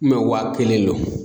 wa kelen lo.